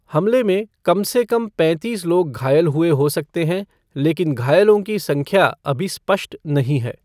हमले में कम से कम पैंतीस लोग घायल हुए हो सकते हैं, लेकिन घायलों की संख्या अभी स्पष्ट नहीं है।